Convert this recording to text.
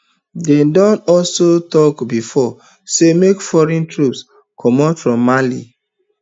dem don also tok bifor say make foreign troops comot from mali